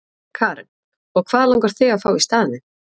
Karen: Og hvað langar þig að fá í staðinn?